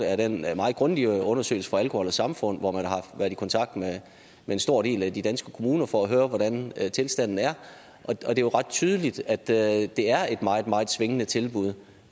er den meget grundige undersøgelse fra alkohol og samfund hvor man har været i kontakt med en stor del af de danske kommuner for at høre hvordan tilstanden er og det er jo ret tydeligt at det er det er et meget meget svingende tilbud